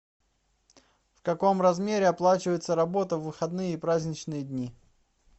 в каком размере оплачивается работа в выходные и праздничные дни